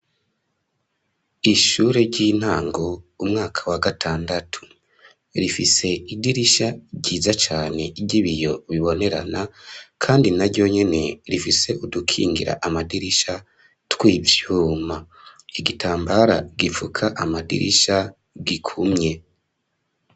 Ishure ry'intango, umwaka wa gatandatu, rifise idirisha ryiza cane, ry'ibiyo bibonerana, kandi na ryo nyene, rifise udukingira amadirisha, tw'ivyuma; igitambara gipfuka amadirisha, gikumye.